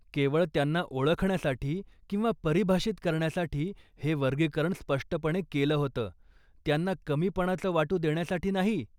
केवळ त्यांना ओळखण्यासाठी किंवा परिभाषित करण्यासाठी हे वर्गीकरण स्पष्टपणे केलं होतं, त्यांना कमीपणाचं वाटू देण्यासाठी नाही.